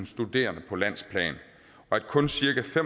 studerende på landsplan og at kun cirka